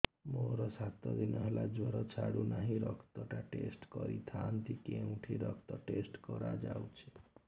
ମୋରୋ ସାତ ଦିନ ହେଲା ଜ୍ଵର ଛାଡୁନାହିଁ ରକ୍ତ ଟା ଟେଷ୍ଟ କରିଥାନ୍ତି କେଉଁଠି ରକ୍ତ ଟେଷ୍ଟ କରା ଯାଉଛି